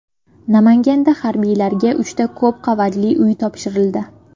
Namanganda harbiylarga uchta ko‘p qavatli uy topshirildi .